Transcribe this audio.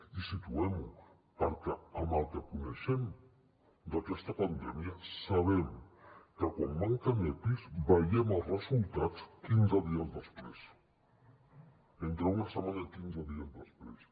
i situem ho perquè amb el que coneixem d’aquesta pandèmia sabem que quan manquen epis veiem els resultats quinze dies després entre una setmana i quinze dies després